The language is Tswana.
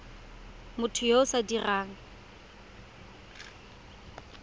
motho yo o sa dirang